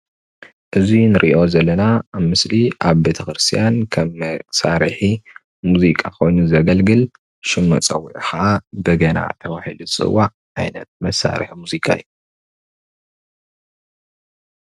እዚ እንርእዮ ዘለና ምስሊ ኣብ ቤቴ ክርስትያን ከም መሳርሒ ሙዚቃ ኮይኑ ዘገልግል ሽም መጸወዒዑ ከዓ በገና ተባሂሉ ዝጽዋዕ ዓይነት መሳርሒ ሙዚቃ እዩ።